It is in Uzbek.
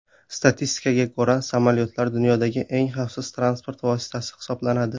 Statistikaga ko‘ra, samolyotlar dunyodagi eng xavfsiz transport vositasi hisoblanadi.